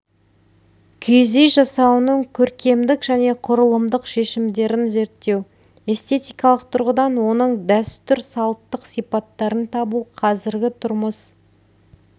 киіз үй жасауының көркемдік және құрылымдық шешімдерін зерттеу эстетикалық тұрғыдан оның дәстүр-салттық сипаттарын табу қазіргі тұрмыс